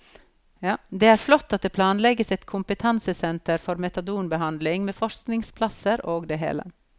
Det er flott at det planlegges et kompetansesenter for metadonbehandling med forskningsplasser og det hele.